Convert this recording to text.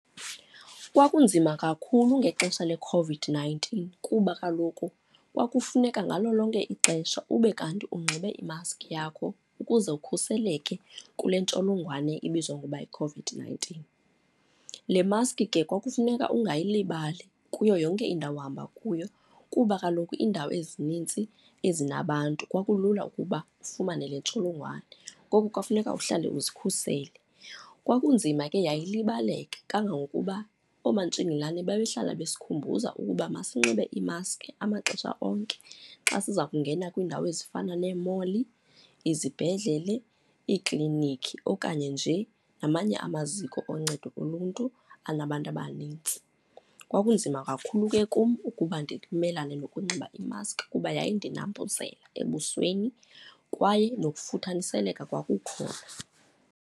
Kwakunzima kakhulu ngexesha leCOVID-nineteen kuba kaloku kwakufuneka ngalo lonke ixesha ube kanti unxibe imaski yakho, ukuze ukhuseleke kule ntsholongwane ibizwa ngoba yiCOVID-nineteen. Le maski ke kwakufuneka ungayilibali kuyo yonke indawo uhamba kuyo kuba kaloku iindawo ezinintsi ezinabantu kwakulula ukuba ufumane le ntsholongwane, ngoku kwafuneka uhlale uzikhusele. Kwakunzima ke yayilibaleka, kangangokuba oomatshingilane babehlala bezikhumbuza ukuba masi unxibe iimaski amaxesha onke xa siza kungena kwiindawo ezifana nee-mall, izibhedlele, iiklinikhi okanye nje namanye amaziko oncedo oluntu anabantu abanintsi. Kwakunzima kakhulu ke kum ukuba ndimelane nokunxiba imaski kuba yaye yayindinambuzela ebusweni kwaye nokufuthathiseleka kwakukhona.